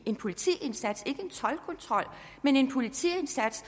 en politiindsats ikke en toldkontrol men en politiindsats